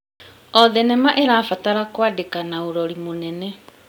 O thenema ĩrabatara kũandĩka na ũrori mũnene.